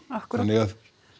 akkúrat þannig að